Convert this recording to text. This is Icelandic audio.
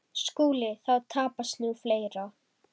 SKÚLI: Þá tapast nú fleira.